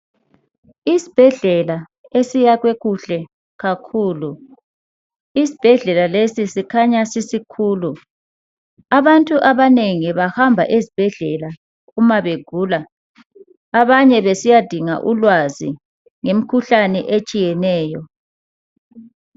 Isibhedlela esiyakhwe kuhle kakhulu. Isibhedlela lesi sikhanya sisikhulu. Abantu abanengi bahamba ezibhedlela uma begula abanye besiyadinga ulwazi ngemikhuhlane etshiyeneyo.